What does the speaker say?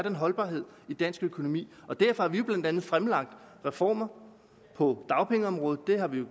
holdbarhed i dansk økonomi derfor har vi jo blandt andet fremlagt reformer på dagpengeområdet det har vi